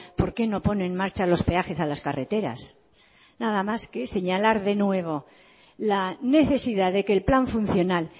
por qué no pone en marcha los peajes a las carreteras nada más que señalar de nuevo la necesidad de que el plan funcional